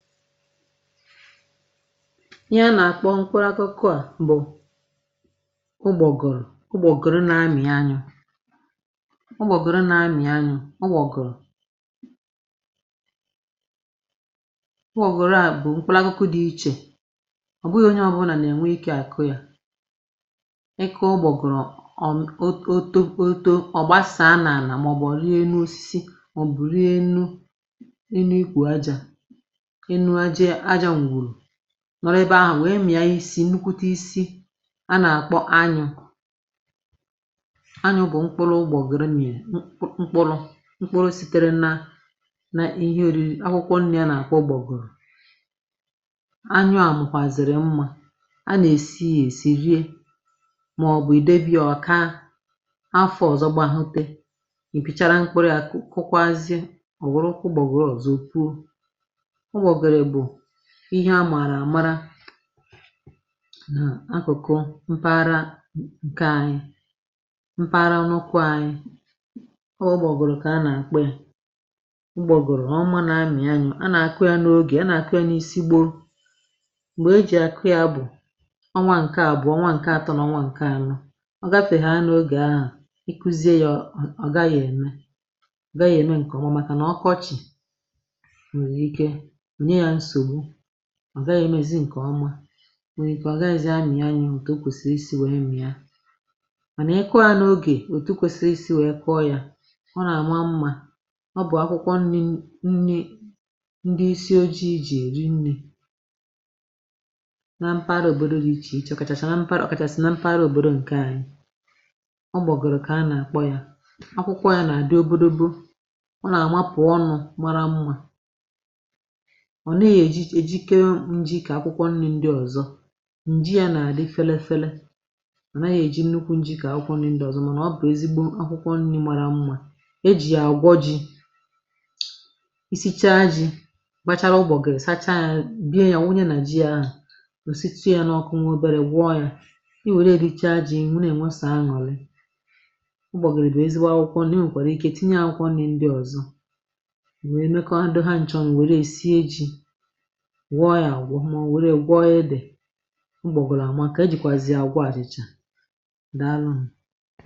Ihe nà-àkpọ mkpụrụakụkụ a bụ ụgbọ̀gòrò ụgbọ̀gòrò na-amị̀ anyụ̇ ụgbọ̀gòrò na-amị̀ anyụ̇ ụgbọ̀gòrò ụgbọ̀gòrò à bụ̀ mkpụrụakụkụ dị̇ ichè, ọ̀ bụghị̇ onye ọbụlà nà-ènwe ikė àkụ yȧ. Ị kụọ ụgbọ̀gòrò um oto oto ọ̀ gbasàa n’ànà mà ọ̀ bụ ọ rienu osisi ma ọ̀ bụ̀ rienu enu ukwu aja enu aja e mwuru nọ̀rọ̀ ebe ahụ̀ wee mìa isi nnukwute isi a nà-àkpọ anyụ. Anyụ bụ̀ mkpụrụ ụgbọgọrọ nà-èm ṁkpụrụ̇ mkpụrụ sitere nȧ nà ihe oriri akwụkwọ nni̇ a nà-àkpọ ụgbọgịrị. Anyụ à makwàzìrì mmȧ, a nà-èsi yȧ èsì rie màọ̀bụ̀ ìdebì a ọ kàa, afọ̇ ọ̀zọ gbahute, ị pịchara mkpụrụ̇ yȧ kụkwazie ọ̀ wụrụ ụgbọgịrị ọzọ o puo. Ụgbọgịrị bụ ihe a maàrà àmara nà akụ̀kụ mpaghara ǹke anyị mpaghara nọkwa anyị, ọ ụgbọ̀gọrọ kà a nà-àkpọ ya. Ụgbọgọrọ ọ mȧ na-amị̀ anyụ. A nà-àkụ ya n’ogè, a nà-àkụ ya n’isi gboo. Mgbè e jì àkụ ya bụ̀ ọnwa ǹke àbụ̀ọ ọnwa ǹke atọ nà ọnwa ǹke anọ, ọ gafèha n’ogè ahụ̀, ị kụzie ya ọ̀ ọ gaghị̇ ème ọ̀ gaghị̇ ème ǹkè ọma màkà nà ọkọchị̀ nwere ike nye ya nsogbu ọ gaghị emezi ǹkè ọma nwèrè ike ọ gaghịzi̇ amị ànyụ òtù o kwèsịrị isi̇ wèe mịa. Mànà ị kụọ ya n’ogè òtù kwesịrị isi̇ wèe kụọ ya ọ nà-àma mmȧ. Ọ bụ̀ akwụkwọ nni̇ nni ndị isi oji̇ jì èri nni na mpaghara òbòdo dị ichè ichė ọ̀ kàchàchà ọ̀ kàchàsị̀ na mpagharȧ òbòdo ǹkè anyị̇. Ọ bụ̀ ụgbọgọ̀rọ̀ kà a nà-àkpọ ya, akwụkwọ ya nà-àdị obodobo, ọ nà-àma pụ̀ ọnụ̇ mara mmȧ. Ọ ne èjikewe njì kà akwụkwọ nni̇ ndị ọ̀zọ ǹji ya nà-àdị felefele ọnàhe èji nnukwu njì kà akwụkwọ nni̇ ndị ọ̀zọ mànà ọ bụ̀ ezigbo akwụkwọ nni̇ màrà mmȧ, ejì yà àgwọ ji̇, i si̇chaa ji̇ kpachara ụgbọ̀gịrị sachaa ya bie ya wụnye nà ji ȧhụ ò situ yȧ n’ọkụ nwa obėrė gwọọ yȧ. I wère richaa ji̇ i na-ènwesà aṅụ̀lị. Ụgbọ̀gịrị bụ ezigbo akwụkwọ nni̇, i nwèkwàrà ike tinye e akwụkwọ nni̇ ndị ọ̀zọ wee mekọdo ha nchọṅụ̀ wère è sie ji̇, gwọọ yȧ agwọ mọ̀ were e gwọọ edịe. Ụgbọgịrị àmaka e jìkwazịa àgwọ àbacha dàalụnụ̇.